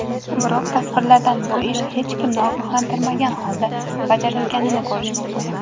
Biroq tasvirlardan bu ish hech kimni ogohlantirmagan holda bajarilganini ko‘rish mumkin.